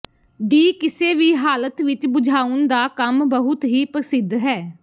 D ਕਿਸੇ ਵੀ ਹਾਲਤ ਵਿਚ ਬੁਝਾਉਣ ਦਾ ਕੰਮ ਬਹੁਤ ਹੀ ਪ੍ਰਸਿੱਧ ਹੈ